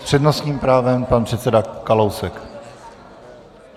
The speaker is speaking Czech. S přednostním právem pan předseda Kalousek.